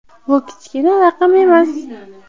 Bu kichkina raqam emas.